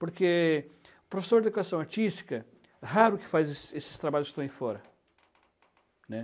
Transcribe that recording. Porque professor de educação artística, raro o que faz esses esses trabalhos que estão aí fora, né?